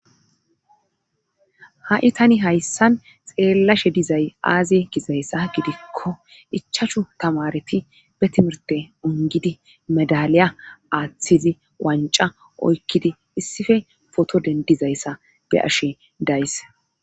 Ha'i tani hayssan xeellashe dizay aaziye gizayssa gidikko ichachu tamareti be timirte ongidi madaliya aaththizi wanca oykkidi issife foto dendizayssa be ashe days